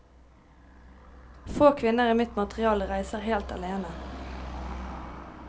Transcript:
Få kvinner i mitt materiale reiser helt alene.